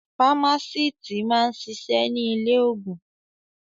Fámásíítì máa ń ṣiṣẹ́ ní ilé-òògùn.